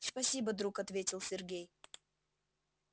спасибо друг ответил сергей